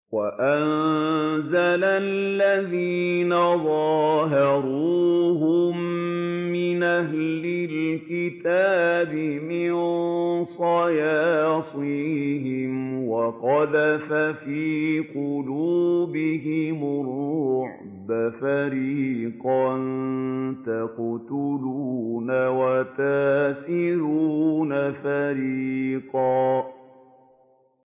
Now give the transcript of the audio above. وَأَنزَلَ الَّذِينَ ظَاهَرُوهُم مِّنْ أَهْلِ الْكِتَابِ مِن صَيَاصِيهِمْ وَقَذَفَ فِي قُلُوبِهِمُ الرُّعْبَ فَرِيقًا تَقْتُلُونَ وَتَأْسِرُونَ فَرِيقًا